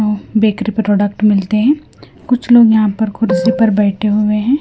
Bakery product मिलते हैं कुछ लोग यहाँ पर कुर्सी पर बैठे हुए हैं।